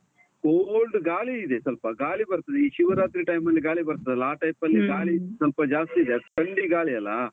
cold ಗಾಳಿ ಇದೆ ಸ್ವಲ್ಪ, ಗಾಳಿ ಬರ್ತದೆ ಈ ಶಿವರಾತ್ರಿ time ಅಲ್ಲಿ ಗಾಳಿ ಬರ್ತದಲ ಆ type ಅಲ್ಲಿ ಸ್ವಲ್ಪ ಜಾಸ್ತಿ ಇದೆ, ಅದು ಥಂಡಿ ಗಾಳಿ ಅಲ.